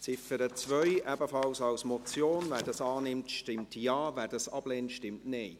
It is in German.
Wer die Ziffer 2 ebenfalls als Motion annimmt, stimmt Ja, wer dies ablehnt, stimmt Nein.